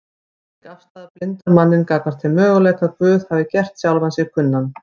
Slík afstaða blindar manninn gagnvart þeim möguleika að Guð hafi gert sjálfan sig kunnan